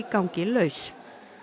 gangi laus